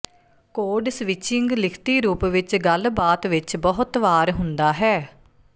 code switching ਲਿਖਤੀ ਰੂਪ ਵਿਚ ਗੱਲਬਾਤ ਵਿਚ ਬਹੁਤ ਵਾਰ ਹੁੰਦਾ ਹੈ